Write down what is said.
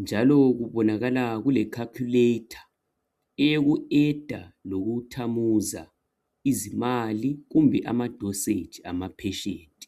njalo kubonakala kule 'calculator' eyoku 'adder' loku "thamuza" izimali kumbe ama 'dosage' ama 'patient'